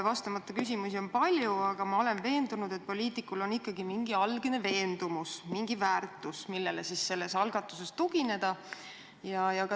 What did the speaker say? Vastamata küsimusi on palju, aga ma olen veendunud, et poliitikul on ikkagi mingi algne veendumus, mingi väärtushinnang, millele oma algatuses tugineda.